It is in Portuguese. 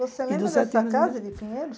Você lembra dessa casa de Pinheiros?